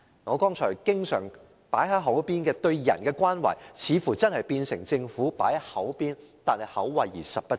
我剛才經常多番提及對人的關懷似乎是口惠而實不至。